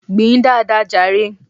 Gbìn dáadáa jàre!